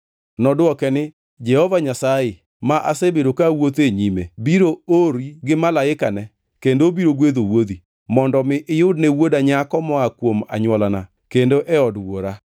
“Nodwoke ni, ‘Jehova Nyasaye, ma asebedo ka awuotho e nyime biro ori gi malaikane kendo obiro gwedho wuodhi, mondo mi iyudne wuoda nyako moa kuom anywolana kendo e od wuora.